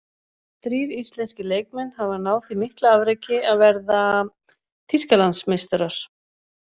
Þrír íslenskir leikmenn hafa náð því mikla afreki að verða Þýskalandsmeistarar.